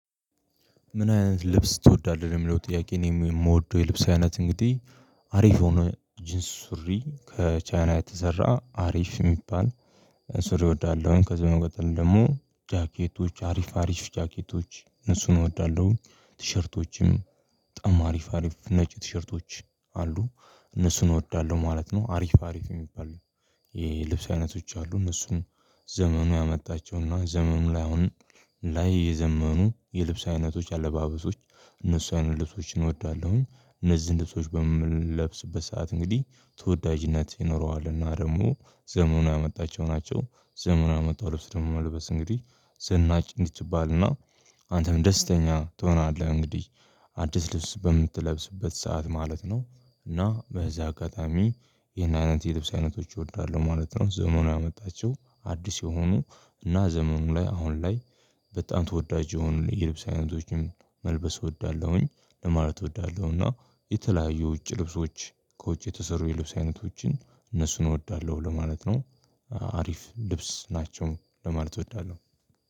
ምን አይነት ልብስ ትወዳለህ? የሚለው ጥያቄ እኔም የምወደው የልብስ አይነት እንግዲህ አሪፍ የሆነ ጂንስ ሱሪ ከቻይና የተሰራ አሪፍ እሚባል ሱሪ እወዳለሁኝ። ከዚህ በመቀጠል ደግሞ ጃኬቶች አሪፍ አሪፍ ጃኬቶች እነሱን እወዳለሁ ቲሸርቶችንም በጣም አሪፍ አሪፍ ነጭ ቲሸርቶች አሉ እነሱን እወዳለሁ ማለት ነው። አሪፍ አሪፍ እሚባሉ ይሄ ልብስ አይነቶች አሉ እነሱም ዘመኑ ያመጣቸውና ዘመኑ ላይ አሁን ላይ የዘመኑ የልብስ አይነቶች አለባበሶች እነሱ አይነት ልብሶችን እወዳለሁኝ። እነዚህን ልብሶች በምንለብስበት ሰዓት እንግዲህ ተወዳጅነት ይኖረዋልና ደግሞ ዘመኑ ያመጣቸው ናቸው ዘመኑ ያመጣው ልብስ ደግሞ መልበስ እንግዲህ ዘናጭ እንድትባልና አንተም ደስተኛ ትሆናለህ እንግዲህ አዲስ ልብስ በምትለብስበት ሰዓት ማለት ነው። እና በዚህ አጋጣሚ ይኸን አይነት የልብስ አይነቶች እወዳለሁ ማለት ነው። ዘመኑ ያመጣችው አዲስ የሆኑ እና ዘመኑ ላይ አሁን ላይ በጣም ተወዳጅ የሆኑ የልብስ አይነቶችን መልበስ እወዳለሁኝ ለማለት እወዳለሁና። የተለያዩ ውጭ ልብሶች ከውጭ የተሰሩ የልብስ አይነቶችን እነሱን እወዳለሁ ለማለት ነው። አሪፍ ልብስ ናቸው ለማለት እወዳለሁ